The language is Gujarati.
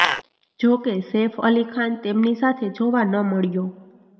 જો કે સૈફઅલી ખાન તેમની સાથે જોવા ન મળ્યો